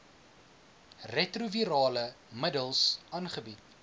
retrovirale middels aangebied